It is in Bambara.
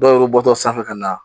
Dɔw bɛ bɔ sanfɛ ka na